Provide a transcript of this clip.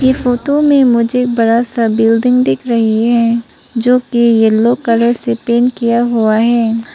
ये फोटो में मुझे बड़ा सा बिल्डिंग दिख रही है जो की येलो कलर से पेंट किया हुआ है।